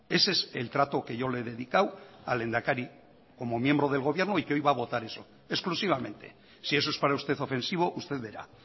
ese es el trato que yo le he dedicado al lehendakari como miembro del gobierno y que hoy va a votar eso exclusivamente si eso es para usted ofensivo usted verá